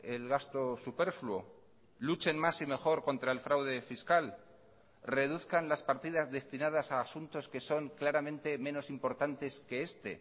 el gasto superfluo luchen más y mejor contra el fraude fiscal reduzcan las partidas destinadas a asuntos que son claramente menos importantes que este